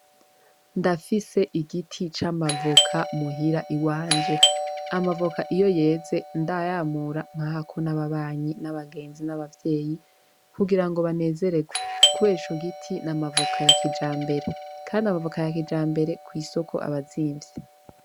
Ndafise igiti c'amavoka muhira iwanje, amavoka iyo yeze ndayamura nkahako n'ababanyi, n'abagenzi, n'abavyeyi kugira banezerwe kubera ico giti n'amavoka ya kijambere kandi ayo mavoka ya kijambere kwisoko aba azimvye.